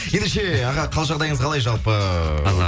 ендеше аға қал жағдайыңыз қалай жалпы